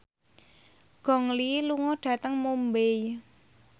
Gong Li lunga dhateng Mumbai